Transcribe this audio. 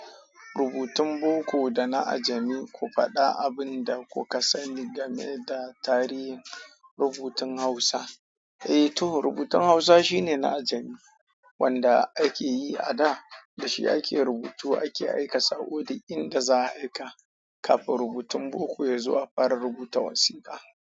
Rubutun boko da na ajami, ku faɗa abin da kuka sani game da tarihin rubutun Hausa. Eh to, rubutun Hausa shine na ajami wanda ake yi a da. Da shi ake rubutu ake aika saƙo duk inda za aika kafin rubutun boko ya zo a fara rubuta wasiƙa.